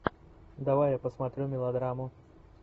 давай я посмотрю мелодраму